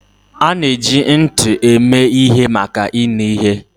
A na-eji ntị eme ihe maka ịnụ ihe.